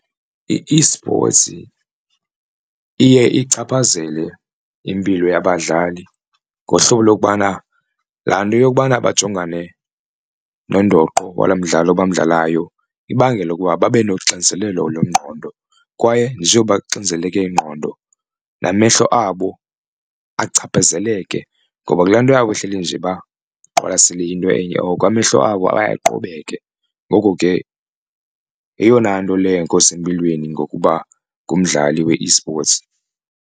I-esports iye ichaphazele impilo yabadlali ngohlobo lokubana laa nto yokubana bajongane nondoqo walo mdlalo bamdlalayo ibangele ukuba babe noxinzelelo lwengqondo, kwaye njengoba kuxinzeleko ingqondo namehlo abo achaphazeleke. Ngoba kulaa nto yabo ehleli nje baqwalasele into enye oko amehlo abo aye aqobeke ngoko ke yeyona nto le leyo engekho sempilweni ngokuba ngumdlali we-esports.